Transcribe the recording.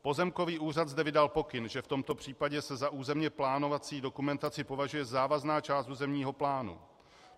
Pozemkový úřad zde vydal pokyn, že v tomto případě se za územně plánovací dokumentaci považuje závazná část územního plánu.